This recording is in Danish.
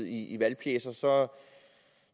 i valgpjecer så